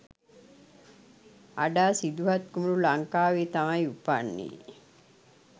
අඩා සිදුහත් කුමරු ලංකාවේ තමයි උපන්නේ